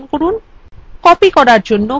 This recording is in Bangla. আকৃতিটি নির্বাচন করুন